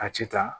A ci ta